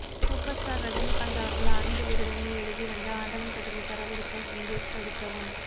super star Rajinikanth அவர்கள் ஆனந்த விகடனில் எழுதி வந்த ஆண்டவன் கட்டளை தரவிறக்க இங்கே சொடுக்கவும்